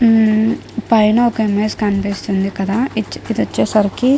ఉమ్ పైన ఒక ఇమేజ్ కనిపిస్తుంది కదా ఇది వచ్చేసరికి.